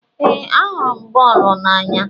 Ee, ahụrụ m bọọlụ n'anya.